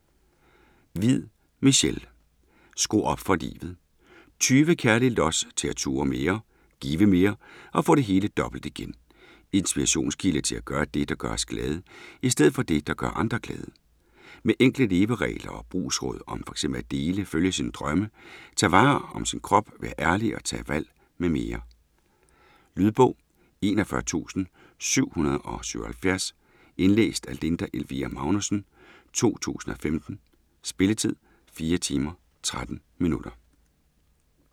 Hviid, Michelle: Skru op for livet 20 kærlige los til at turde mere, give mere og få det hele dobbelt igen. Inspirationskilde til at gøre det, der gør os glade, i stedet for det der gør andre glade. Med enkle leveregler og brugsråd om fx at dele, følge sine drømme, tage vare om sin krop, være ærlig og tage valg mm. Lydbog 41777 Indlæst af Linda Elvira Magnussen, 2015. Spilletid: 4 timer, 13 minutter.